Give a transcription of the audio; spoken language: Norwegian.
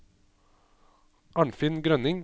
Arnfinn Grønning